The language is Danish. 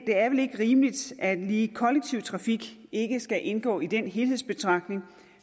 det er vel ikke rimeligt at lige kollektiv trafik ikke skal indgå i den helhedsbetragtning